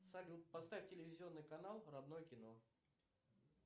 салют поставь телевизионный канал родное кино